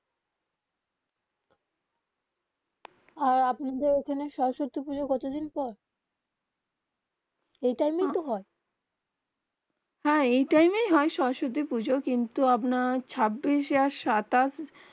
আর আপনাদের ওখানে সরস্বতী পুজো কত দিন পর এ টাইম তো হয়ে হা এই টাইম. হয়ে সরস্বতী পুজো কিন্তু আপনার ছবিস যা সাতাশ